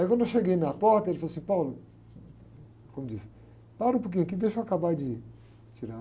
Aí quando eu cheguei na porta, ele falou assim, como diz, para um pouquinho aqui, deixa eu acabar de tirar.